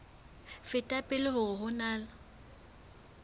feta pele hore ho na